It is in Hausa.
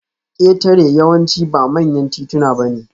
Ketare yawanci ba manyan tituna bane